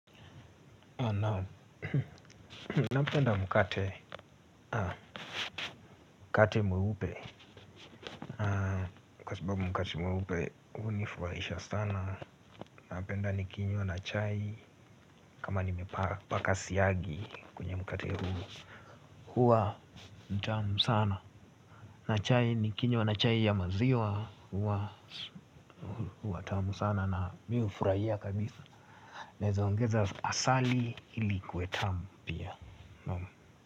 Naam, napenda mkate mweupe. Kwa sababu mkate mweupe hunifurahisha sana. Napenda nikinywa na chai kama nimepaka siagi kwenye mkate huu. Huwa mtamu sana na chai nikinywa na chai ya maziwa huwa huwa tamu sana na mi hufurahia kabisa. Naeza ongeza asali ili ikuwe tamu pia um.